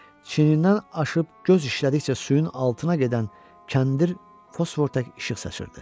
Çiyindən aşıb göz işlədikcə suyun altına gedən kəndir fosfor tək işıq saçırdı.